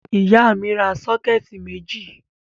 Ìyá mi ra sọ́kẹ́tì méjì.